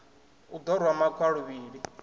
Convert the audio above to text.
u ḓo rwa makhwa luvhili